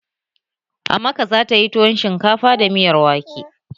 Amaka za tayi tuwon shinkafa da miyar wake